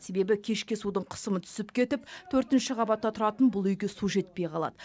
себебі кешке судың қысымы түсіп кетіп төртінші қабатта тұратын бұл үйге су жетпей қалады